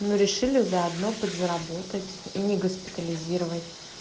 мы решили заодно подзаработать и не госпитализировать